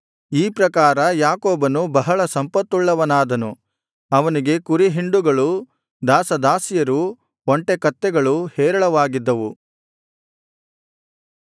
ಈ ಪ್ರಕಾರ ಯಾಕೋಬನು ಬಹಳ ಸಂಪತ್ತುಳ್ಳವನಾದನು ಅವನಿಗೆ ಕುರಿಹಿಂಡುಗಳು ದಾಸದಾಸಿಯರು ಒಂಟೆ ಕತ್ತೆಗಳು ಹೇರಳವಾಗಿದ್ದವು